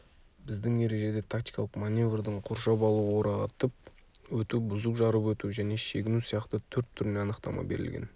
біздің ережеде тактикалық маневрдің қоршап алу орағытып өту бұзып жарып өту және шегіну сияқты төрт түріне анықтама берілген